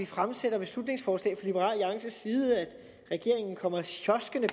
fremsætter beslutningsforslag at regeringen kommer sjoskende